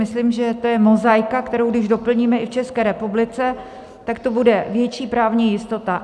Myslím, že to je mozaika, kterou když doplníme i v České republice, tak tu bude větší právní jistota.